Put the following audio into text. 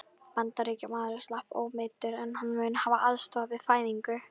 Bandaríkjamaðurinn slapp ómeiddur, en hann mun hafa aðstoðað við fæðinguna.